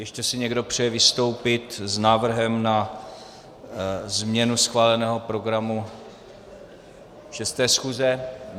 Ještě si někdo přeje vystoupit s návrhem na změnu schváleného programu 6. schůze?